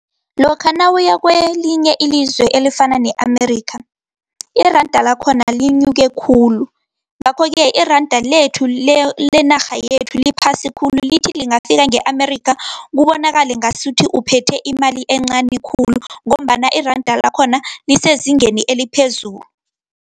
Lokha nawuya kelinye ilizwe elifana ne-Amerika, iranda lakhona linyuke khulu, ngakho-ke iranda lenarha yethu liphasi khulu. Lithi lingafika nge-Amerika kubonakale ngasuthi uphethe imali encani khulu, ngombana iranda lakhona lisezingeni eliphezulu.